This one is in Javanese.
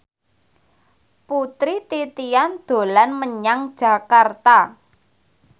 Putri Titian dolan menyang Jakarta